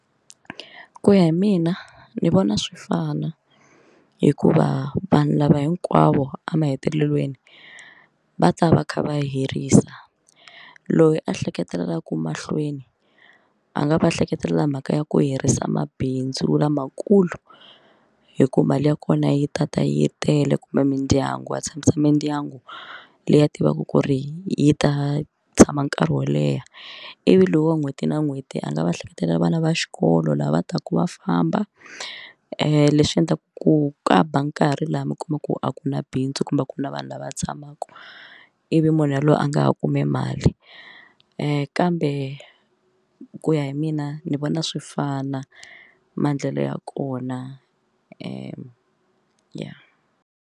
Ku ya hi mina ni vona swi fana hikuva vanhu lava hinkwavo emahetelelweni va ta va kha va herisa loyi a ehleketelelaka mahlweni a nga va hleketelela mhaka ya ku herisa mabindzu lamakulu hi ku mali ya kona yi tata yi tele kumbe mindyangu a tshamisa mindyangu leyi a tivaka ku ri yi ta tshama nkarhi wo leha ivi loko n'hweti na n'hweti a nga va ehleketelela vana va xikolo lava taka va famba leswi endlaka ku ku ba nkarhi laha mi kumaka ku a ku na bindzu kumbe a ku na vanhu lava tshamaka ivi munhu yaloye a nga ha kumi mali kambe ku ya hi mina ni vona swi fana maendlelo ya kona ya ya.